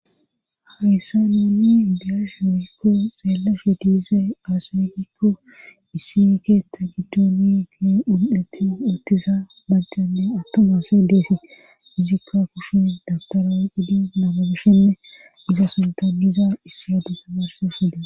Hayssa neeni diyash mihikko xeellashe diize aasfekikko issieke ta gidooni gie un7eti uttiza bajjanne attomase deesi fizikka kushin dagtara woqidi namagishenne iza suntaniza issi adufe garse fida